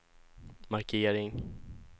markering